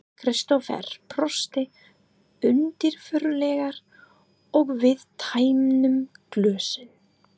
Kristófer brosti undirfurðulega og við tæmdum glösin.